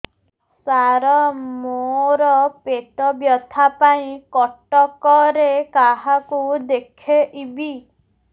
ସାର ମୋ ର ପେଟ ବ୍ୟଥା ପାଇଁ କଟକରେ କାହାକୁ ଦେଖେଇବି